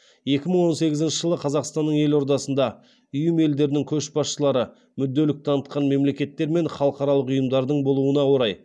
екі мың он сегізінші жылы қазақстанның елордасында ұйым елдерінің көшбасшылары мүдделік танытқан мемлекеттер мен халықаралық ұйымдардың болуына орай